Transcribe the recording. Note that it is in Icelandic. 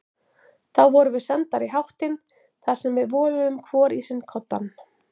Þá vorum við sendar í háttinn þar sem við voluðum hvor í sinn koddann.